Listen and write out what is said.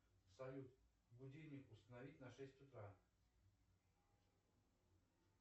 салют будильник установить на шесть утра